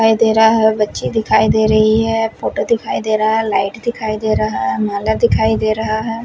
दिखाई दे रहा है बच्चे दिखाई दे रही है फोटो दिखाई देरा है लाइट दिखाई दे रहा है माला दिखाई दे रहा है।